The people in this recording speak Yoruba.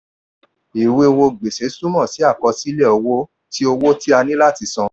ìwé owó gbèsè túmọ̀ sí àkọsílẹ̀ owó tí owó tí a ní láti san.